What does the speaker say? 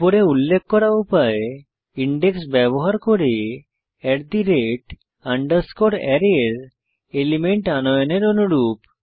উপরে উল্লেখ করা উপায় ইনডেক্স ব্যবহার করে আরায় এর এলিমেন্ট আনয়নের অনুরূপ